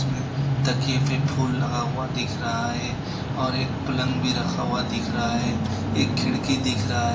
में तकिए पे फूल लगा हुआ दिख रहा है और एक पलंग भी रखा हुआ दिख रहा है एक खिड़की दिख रहा है।